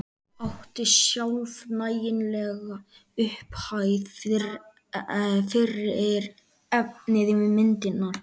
Átti sjálf nægilega upphæð fyrir efni í myndirnar.